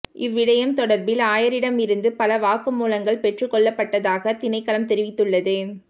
இவ்விடயம் தொடர்பில் ஆயரிடமிருந்து பல வாக்குமூலங்கள் பெற்றுக்கொள்ளப்பட்டதாக திணைக்களம் தெரிவித்துள்ளது